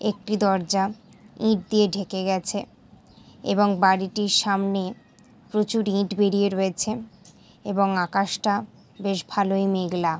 একটি দরজা ইট দিয়ে ঢেকে গেছে এবং বাড়িটির সামনে প্রচুর ইট বেরিয়ে রয়েছে এবং আকাশটা বেশ ভালোই মেঘলা।